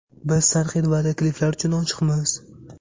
Biz tanqid va takliflar uchun ochiqmiz.